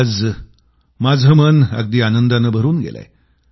आज माझं मन अगदी आनंदानं भरून गेलंय